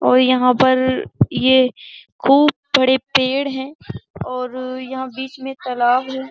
और यहाँ पर ये खूब पड़े पेड़ हैं और यहाँ बीच में तालाब है।